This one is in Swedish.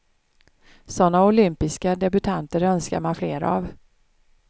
Såna olympiska debutanter önskar man fler av.